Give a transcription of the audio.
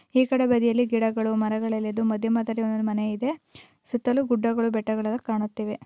ಈ ಕಡೆ ಬದಿಯಲ್ಲಿ ಗಿಡಗಳು ಮರಗಳೆಲ್ಲ ಇದ್ದು ಮಧ್ಯ ಮಧ್ಯದಲ್ಲಿ ಮನೆ ಇದೆ ಸುತ್ತಲ್ಲು ಗುಡ್ಡಗಳು ಬೆಟ್ಟಗಳು ಕಾಣುತ್ತವೆ.